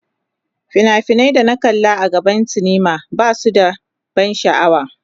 Fina-finan da na kalla a gidan sinima ba su da ban sha'awa.